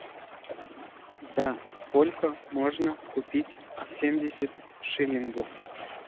за сколько можно купить семьдесят шиллингов